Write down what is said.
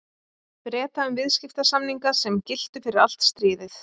Breta um viðskiptasamninga, sem giltu fyrir allt stríðið.